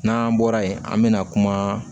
N'an bɔra yen an bɛna kuma